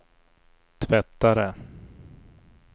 tvättare